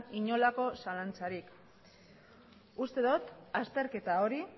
inolako zalantzarik uste dot azterketa hori